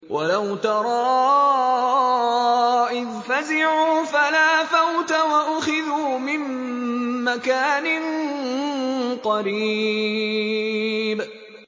وَلَوْ تَرَىٰ إِذْ فَزِعُوا فَلَا فَوْتَ وَأُخِذُوا مِن مَّكَانٍ قَرِيبٍ